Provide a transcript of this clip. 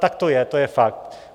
Tak to je, to je fakt.